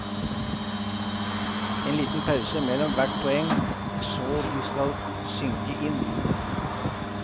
En liten pause mellom hvert poeng, så de skal synke inn.